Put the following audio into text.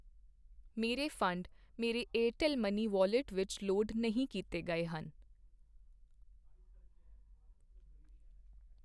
ਮੇਰੇ ਫੰਡ ਮੇਰੇ Airtel money wallet ਵਿੱਚ ਲੋਡ ਨਹੀਂ ਕੀਤੇ ਗਏ ਹਨ।